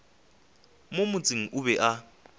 mo motseng o be a